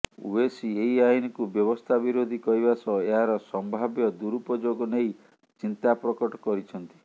ଓୱେସି ଏହି ଆଇନକୁ ବ୍ୟବସ୍ଥା ବିରୋଧୀ କହିବା ସହ ଏହାର ସମ୍ଭାବ୍ୟ ଦୁରୁପଯୋଗ ନେଇ ଚିନ୍ତା ପ୍ରକଟ କରିଛନ୍ତି